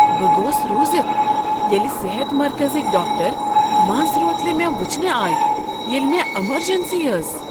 بہٕ گوس رُوزتھ ییٚلہ صحت مرکزٕکۍ ڈاکٹر منز روتلہ مےٚ وٕچھنہ آیہ ییٚلہ مےٚ امرجنسی ٲس۔